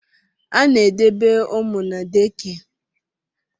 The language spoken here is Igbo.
A na-edebe ụmụ na dekịa